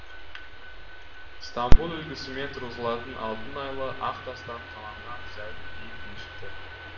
стамбул үлгісімен тұрғызылған алтын айлы ақ тастан қалан ған зәулім биік мешіті